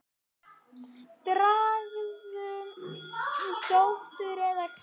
Strangur dómur eða hvað?